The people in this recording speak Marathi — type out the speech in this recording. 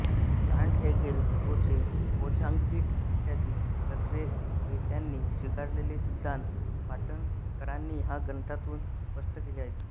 कांट हेगेल क्रोचे बोझांकीट इ तत्त्ववेत्यांनी स्वीकारलेले सिद्धान्त पाटणकरांनी या ग्रंथांतून स्पष्ट केले आहेत